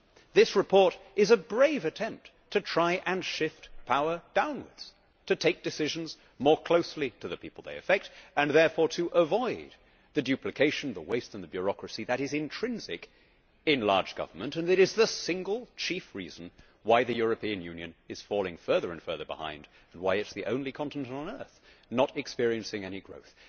This report is a brave attempt to try and shift power downwards, to take decisions more closely to the people they affect and therefore to avoid the duplication, the waste and bureaucracy which is intrinsic in large government and is the single chief reason why the European Union is falling further and further behind and why it is the only continent on earth not experiencing any growth.